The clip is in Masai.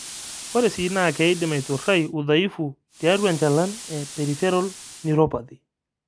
Ore sii naa keidim aiturai udhaifu tiatua enjalan e (peripheral neuropathy).